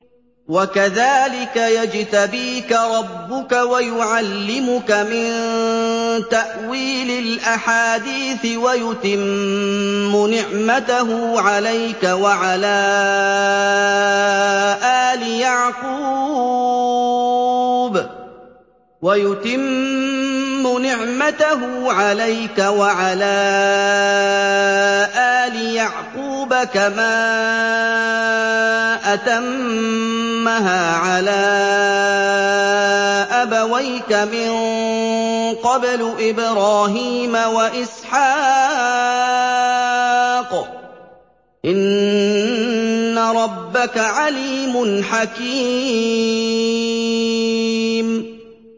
وَكَذَٰلِكَ يَجْتَبِيكَ رَبُّكَ وَيُعَلِّمُكَ مِن تَأْوِيلِ الْأَحَادِيثِ وَيُتِمُّ نِعْمَتَهُ عَلَيْكَ وَعَلَىٰ آلِ يَعْقُوبَ كَمَا أَتَمَّهَا عَلَىٰ أَبَوَيْكَ مِن قَبْلُ إِبْرَاهِيمَ وَإِسْحَاقَ ۚ إِنَّ رَبَّكَ عَلِيمٌ حَكِيمٌ